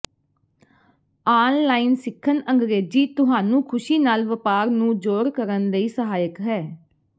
online ਸਿੱਖਣ ਅੰਗਰੇਜ਼ੀ ਤੁਹਾਨੂੰ ਖੁਸ਼ੀ ਨਾਲ ਵਪਾਰ ਨੂੰ ਜੋੜ ਕਰਨ ਲਈ ਸਹਾਇਕ ਹੈ